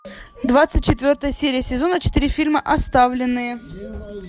двадцать четвертая серия сезона четыре фильма оставленные